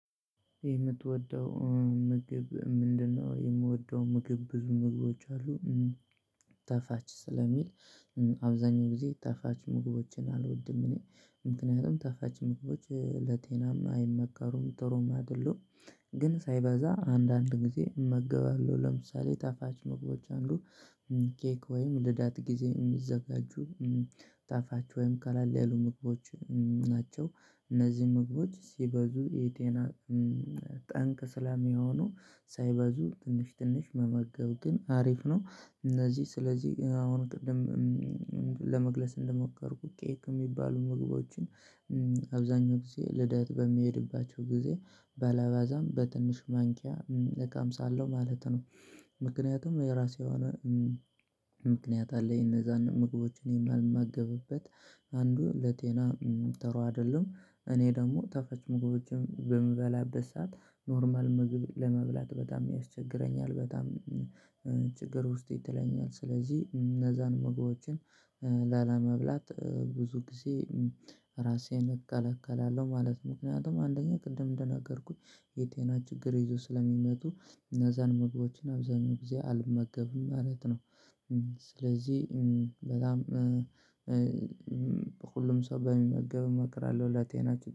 የምትወደው ምግብ ምንድነው? የምወደው ምግብ ብዙ ምግቦች አሉ። ጣፋች ስለሚል አብዛኛው ጊዜ ጣፋች ምግቦችን አልወድም እኔ ምክንያቱም ታፋች ምግቦች ለጤናም አይመከሩም ጥሩም አይደሉም። ግን ሳይበዛ አንዳንድ ጊዜ እመገባለሁ ለምሳሌ ጣፋች ምግቦች አንዱ ኬክ ወይም ልደት ጊዜ የሚዘጋጁ ጣፋች ወይም ቀለል ያሉ ምግቦች ናቸው። እነዚህ ምግቦች ሲበዙ የጤና ጠንቅ ስለሚሆኑ ሳይበዙ ትንሽ ትንሽ መመገብ ግን አሪፍ ነው። እነዚህ ስለዚህ አሁን ቅድም ለመግለጽ እንደሞከርኩኝ ኬክ ሚባሉ ምግቦችን አብዛኛው ጊዜ ልደት በሚሄድባቸው ጊዜ በለአባዛም በትንሽ ማንኪያ እቀምሳለው ማለት ነው። ምክንያቱም የራሴ የሆነ ምክንያት አለኝ የነዛን ምግቦችን የማልማገብበት አንዱ ለጤና ተሩ አይደለም። እኔ ደግሞ ጣፈች ምግቦችን በምበላበት ሰዓት ኖርማል ምግብ ለመብላት በጣም ያስቸግረኛል በጣም ችግር ውስጥ ይጥለኛል። ስለዚህ እነዛን ምግቦችን ላለመብላት ብዙ ጊዜ ራሴን እከለክላለሁ። ማለት ምክንያቱም አንደኛ ቅድም እንደነገርኩኝ የጤና ችግር ይዞ ስለሚመጡ እነዛን ምግቦችን አብዛኛው ጊዜ አልመገብም ማለት ነው። ስለዚህ በጣም በሁሉም ሰው በሚመገብ እመክራለሁ ላጤናችሁ